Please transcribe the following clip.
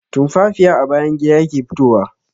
Tumfafiya a bayan gida yake fitowa.